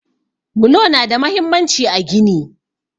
Bulo nada mahimmanci a gini.